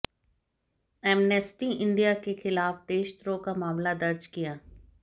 amnesty India के खिलाफ देशद्रोह का मामला दर्ज किया